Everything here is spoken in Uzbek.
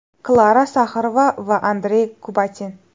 Klara Saxarova va Andrey Kubatin.